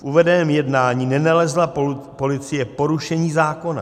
V uvedeném jednání nenalezla policie porušení zákona.